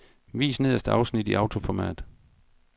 Vis nederste afsnit i autoformat.